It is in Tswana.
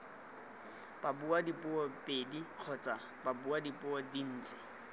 babuadipuo pedi kgotsa babuadipuo dintsi